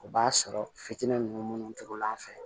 O b'a sɔrɔ fitinin ninnu minnu tugula an fɛ